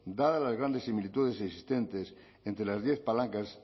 dadas las grandes similitudes existentes entre las diez palancas